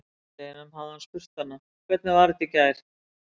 Á sunnudeginum hefði hann spurt hana: Hvernig var þetta í gær?